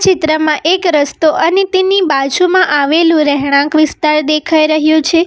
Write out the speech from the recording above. ચિત્રમાં એક રસ્તો અને તેની બાજુમાં આવેલું રહેણાંક વિસ્તાર દેખાઈ રહ્યું છે.